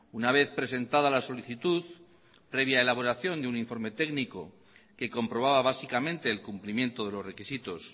una vez presentada la solicitud previa elaboración de un informe técnico que comprobaba básicamente el cumplimiento de los requisitos